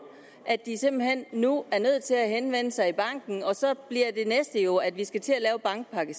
at de simpelt hen nu er nødt til at henvende sig i banken og så bliver det næste jo at vi skal til at lave bankpakke